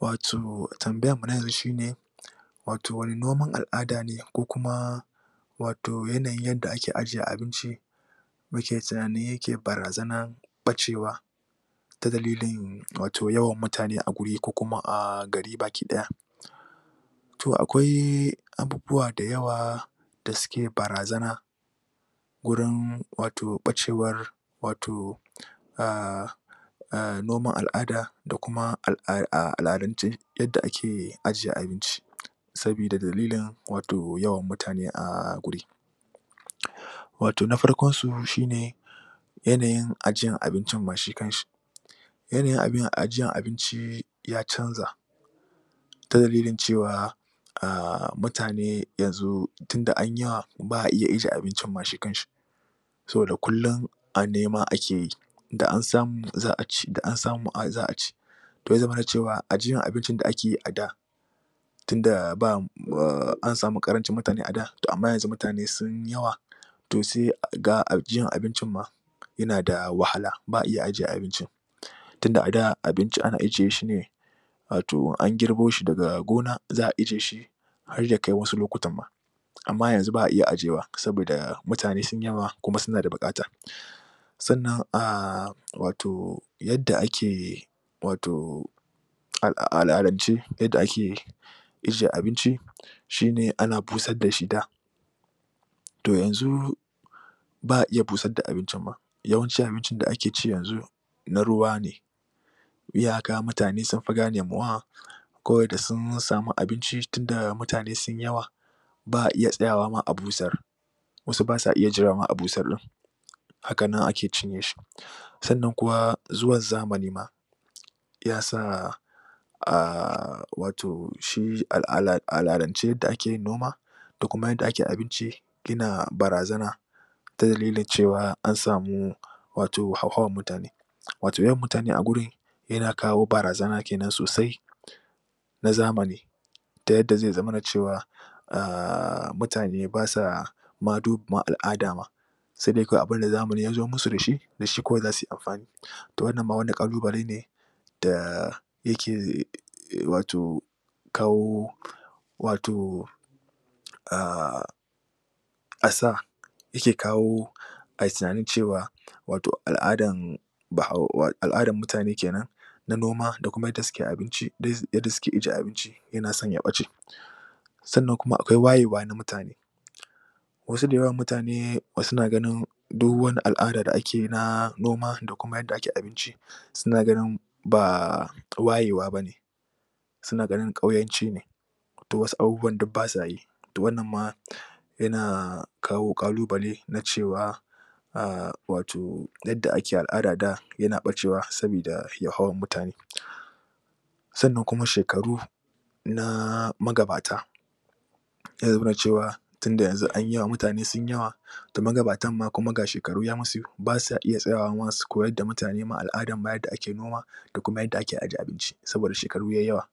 Wato tambayarmu na yanzu shi ne wato wane noman al'ada ne ko kuma wato yanayin yadda ake aje abinci muke tunani yake barazanar ɓacewa. ta dalilin wato yawan mutane a wuri ko kuma a gari baki ɗaya. to akwai abubuwa da yawa da suke barazana gurin wato ɓacewar wato a a noman al'ada da kuma al'adance yadda ake ajiye abinci. sabida dalilin wato yawan mutane a guri. wato na farkonsu shi ne yanayin ajiyar abincin ma shi kanshi. yanayin ajiyar abinci, ya canja, ta dalilin cewa a mutane yanzu tunda an yi yawa ba a iya ajiye abincin ma shi kanshi. saboda kullum a nema ake yi, da an samu za a ci, da an samu za a ci. to ya zamana cewa ajiyar abincin da ake yi a da tunda ba an samu karancin mutane a da to amma yanzu mutane sun yi yawa to sai ga ajiyan abincin ma yana da wahala, ba a iya ajiye abincin. tunda a ada abinci ana ajiye shi ne wato an girbo shi daga gona za a aje shi har ya kai wasu lokutan ma. Amma yanzu ba a iya ajewa saboda mutane sun yawa kuma suna da buƙata. sannan a wato yadda ake wato a al'adance yadda ake ajiye abinci shi ne ana busar da shi to yanzu ba a iya busar da abincin ma yawanci abincin da ake ci yanzu na ruwa ne. Iyaka mutane sun fi gane ma wa ko da sun sami abinci, tun da mutane sun yawa ba a iya tsayawa ma a busar, wasu ba sa iya jira ma a busar ɗin, haka nan ake cinye shi. sannan kuma zuwan zamani ma ya sa A wato shi a al'adance yadda ake yin noma da kuma yadda ake yin abinci yana barazana ta dalilin cewa an samu wato hauhawar mutane wato yawan mutane a gurin yana kawo barazana ke nan sosai na zamani ta yadda zai zamana cewa a mutane ba sa ma duba ma al'ada ma sai dai kawai abinda zamani ya zo masu da shi da shi kawai za su yi amfani, to wannan ma wani ƙalubale ne, da yake wato kawo wato a asa yake kawo a yi tunanin cewa wato al'adan bahau al'adan mutane ke nan na noma da kuma yadda suke abinci yadda suke aje abinci yana son ya ɓace. sannan kuma akwai wayewa na mutane wasu da yawan mutane suna ganin duk wani al'ada da ake yi na noma da kuma yadda ake abinci suna ganin ba waye wa ba ne. sauna ganin ƙauyanci ne. to wasu abubuwan duk ba sa yi to wannan ma yana kawo ƙalubale na cewa a wato yadda ake al'ada da yana ɓacewa saboda hauhawar mutane. sannan kuma shekaru na magabata eh muna cewa tun da yanzu an yi yawa, mutane sun yi yawa to magabatanma kuma ga shekaru ya musu, ba sa iya tsayawa ma su koyar da mutane ma al'adar yadda ake ake noma da kuma yadda ake aje abinci, saboda shekaru yai yawa.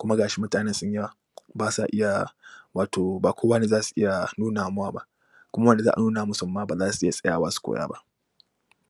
kuma ga shi mutanen sun yawa ba sa iya wato ba kowa ne za su iya nuna ma wa ba. kuma wanda za a nuna musun ma ba za su iya tsayawa su koya ba.